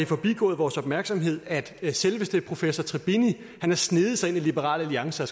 forbigået vores opmærksomhed at selveste professor tribini har sneget sig ind i liberal alliance og